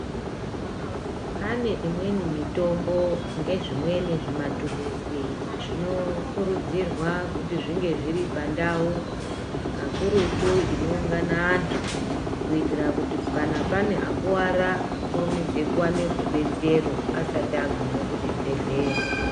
Pane imweni mitombo ngezvimweni zvimaturuzi zvinokurudzirwa kuti zvinge zviripandau kakurutu, inoungana vantu kuitira kuti kana pane akuwara akurumidze kuwana rudetsero asati agume kuchibhedhlera.